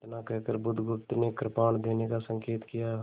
इतना कहकर बुधगुप्त ने कृपाण देने का संकेत किया